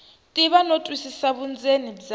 tiva no twisisa vundzeni bya